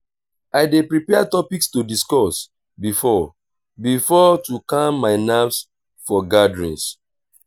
i dey prepare topics to discuss before-before to calm my nerves for gatherings.